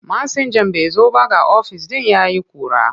Masinjan bai zo ba ga ofis ɗin ya yi ƙura.